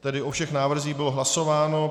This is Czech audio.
Tedy o všech návrzích bylo hlasováno.